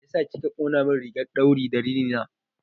Mai ya sa kika ƙonamin rigar ɗauri da rini na?